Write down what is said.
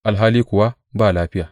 alhali kuwa ba lafiya.